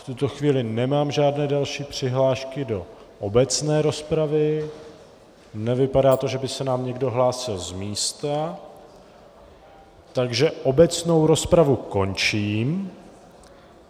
V tuto chvíli nemám žádné další přihlášky do obecné rozpravy, nevypadá to, že by se nám někdo hlásil z místa, takže obecnou rozpravu končím.